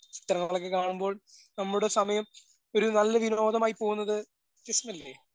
ചിത്രങ്ങളൊക്കെ കാണുമ്പോൾ നമ്മുടെ സമയം ഒരു നല്ല വിനോദമായി പോകുന്നത് രസല്ലേ.